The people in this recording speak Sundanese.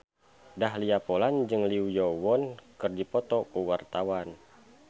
Dahlia Poland jeung Lee Yo Won keur dipoto ku wartawan